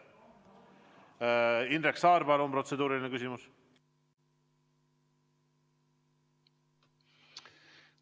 Indrek Saar, palun protseduuriline küsimus!